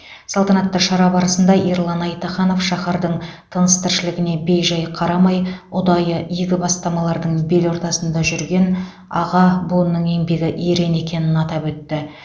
салтанатты шара барысында ерлан айтаханов шаһардың тыныс тіршілігіне бей жай қарамай ұдайы игі бастамалардың бел ортасында жүрген аға буынның еңбегі ерен екенін атап өтті